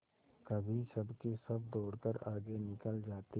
कभी सबके सब दौड़कर आगे निकल जाते